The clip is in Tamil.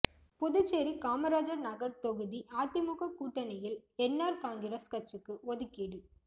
புதுச்சேரி காமராஜர் நகர் தொகுதி அதிமுக கூட்டணியில் என்ஆர் காங்கிரஸ் கட்சிக்கு ஒதுக்கீடு